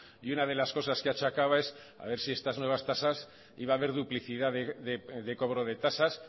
y una de las cosas que achacaba es a ver si estas nuevas tasas y va a ver duplicidad de cobro de tasas